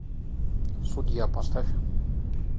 судья поставь